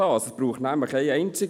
Es braucht nur eine einzige.